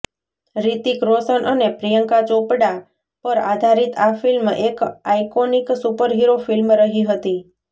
રિતિક રોશન અને પ્રિયંકા ચોપડા પર આધારિત આ ફિલ્મ એક આઈકોનિક સુપરહીરો ફિલ્મ રહી હતી